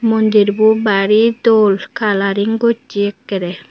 mondir bo bari dol kalaring gosse akkere.